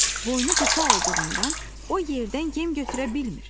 Boynu qısa olduğundan o yerdən yem götürə bilmir.